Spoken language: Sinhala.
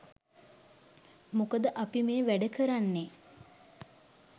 මොකද අපි මේ වැඩ කරන්නෙ